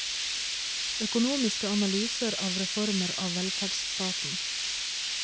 Økonomiske analyser av reformer av velferdsstaten.